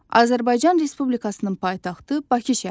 Azərbaycan Respublikasının paytaxtı Bakı şəhəridir.